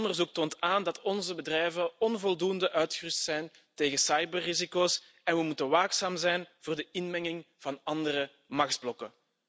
Onderzoek toont aan dat onze bedrijven onvoldoende uitgerust zijn tegen cyberrisico's en we moeten waakzaam zijn voor de inmenging van andere machtsblokken.